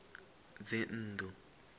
dzinnḓu